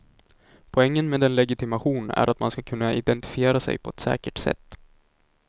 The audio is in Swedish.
Poängen med en legitimation är man ska kunna identifiera sig på ett säkert sätt.